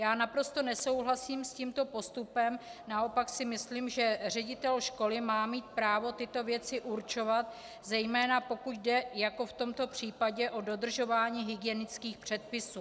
Já naprosto nesouhlasím s tímto postupem, naopak si myslím, že ředitel školy má mít právo tyto věci určovat, zejména pokud jde jako v tomto případě o dodržování hygienických předpisů.